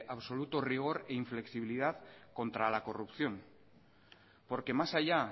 absoluto rigor e inflexibilidad contra la corrupción porque más allá